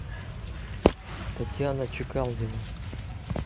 татьяна чекалдина